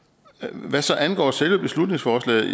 hvad angår selve beslutningsforslaget